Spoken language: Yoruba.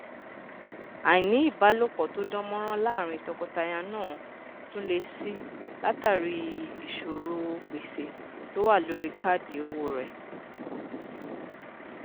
àìní ìbáṣepọ tó dán mọrán láárín tọkọtaya náà tún le si látàrí ìṣòrò gbèsè to wà lórí káàdì owó rẹ